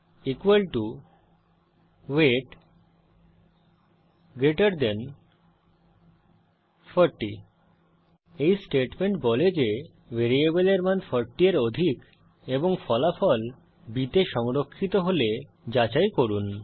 b ওয়েট 40 এই statement বলে যে ভ্যারিয়েবলের মান 40 এর অধিক এবং ফলাফল b তে সংরক্ষিত হলে যাচাই করুন